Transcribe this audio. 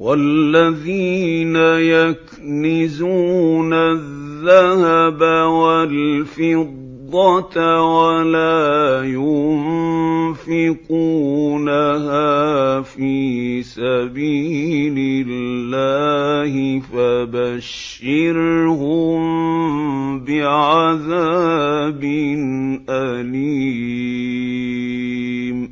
وَالَّذِينَ يَكْنِزُونَ الذَّهَبَ وَالْفِضَّةَ وَلَا يُنفِقُونَهَا فِي سَبِيلِ اللَّهِ فَبَشِّرْهُم بِعَذَابٍ أَلِيمٍ